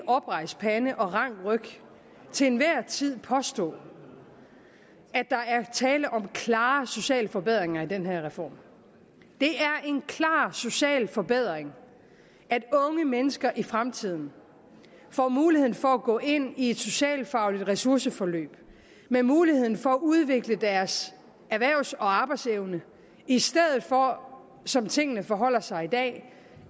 oprejst pande og rank ryg til enhver tid påstå at der er tale om klare sociale forbedringer i den her reform det er en klar social forbedring at unge mennesker i fremtiden får muligheden for at gå ind i et socialfagligt ressourceforløb med muligheden for at udvikle deres erhvervs og arbejdsevne i stedet for som tingene forholder sig i dag